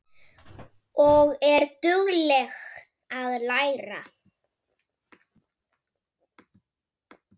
Elsku mamma, sofðu, ástin mín.